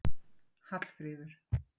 Hallfríður